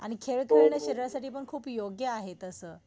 आणि खेळ खेळणं शरीरासाठी पण खूप योग्य आहे तसं.